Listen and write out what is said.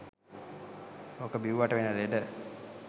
ඕක බිව්වට වෙන ලෙඩ